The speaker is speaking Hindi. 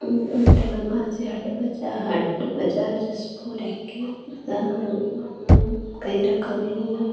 हट्ट बजा हट्ट बजार जस पोर हे के कन्हु रकन हेई --